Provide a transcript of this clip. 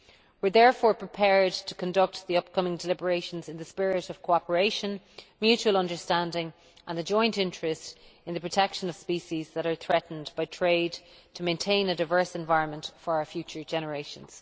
We are therefore prepared to conduct the upcoming deliberations in a spirit of cooperation, mutual understanding and shared interest in the protection of species threatened by trade, in order to maintain a diverse environment for our future generations.